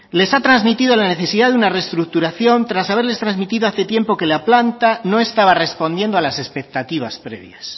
les ha transmitido la necesidad de una reestructuración tras haberles transmitido hace tiempo que la planta no estaba respondiendo a las expectativas previas